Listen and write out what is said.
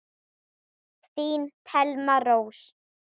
Þín Thelma Rós.